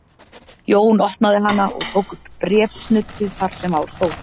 Jón opnaði hana og tók upp bréfsnuddu þar sem á stóð